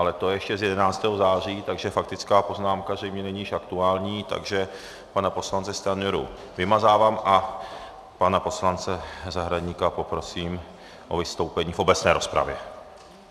Ale to je ještě z 11. září, takže faktická poznámka zřejmě není již aktuální, takže pana poslance Stanjuru vymazávám a pana poslance Zahradníka poprosím o vystoupení v obecné rozpravě.